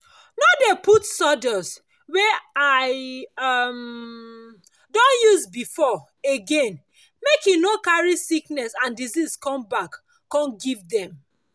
i no dey put sawdust wey i um don use before again make e for no carry sickness and disease come back come give dem